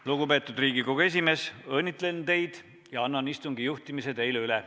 Lugupeetud Riigikogu esimees, õnnitlen teid ja annan istungi juhtimise teile üle.